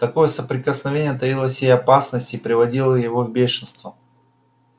такое соприкосновение таило в себе опасность и приводило его в бешенство